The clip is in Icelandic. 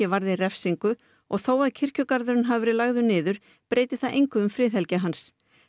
varði refsingu og þó að kirkjugarðurinn hafi verið lagður niður breyti það engu um friðhelgi hans